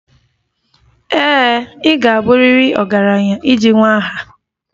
Ee e, ị ga-abụrịrị ọgaranya iji nwee aha.